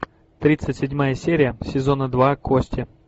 тридцать седьмая серия сезона два кости